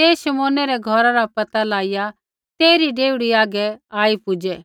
ते शमौनै रै घौरा रा पैता लाइआ तेइरी डेवढ़ी हागै आई पुज़ै